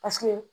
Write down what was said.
Paseke